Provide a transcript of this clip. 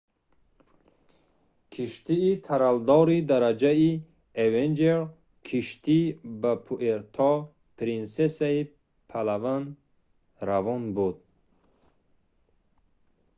киштии тралдори дараҷаи avenger киштӣ ба пуэрто-принсесаи палаван равон буд